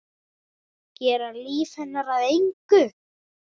Gera líf hennar að engu.